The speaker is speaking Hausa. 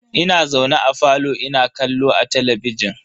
Ina zaune a falo ina kallo a talabijin.